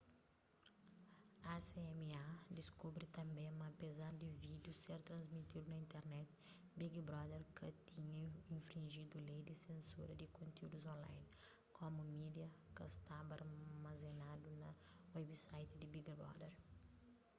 acma diskubri tanbê ma apezar di vídiu ser transmitidu na internet big brother ka tinha infrinjidu lei di sensura di kontiúdus online komu media ka staba armazenadu na website di big brother